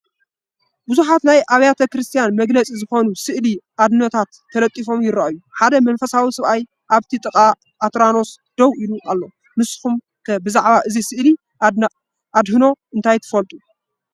ብዙሓት ናይ ቤተ ክርስትያን መግለፂ ዝኾኑ ስእሊ ኣድህኖታት ተለጢፎም ይራኣዩ፡፡ ሓደ መንፈሳዊ ሰብኣይ ኣብቲ ጥቓ ኣትራኖስ ደው ኢሉ ኣሎ፡፡ ንስኹም ከ ብዛዕባ ስእሊ ኣድህኖ እንታይ ትፈልጡ?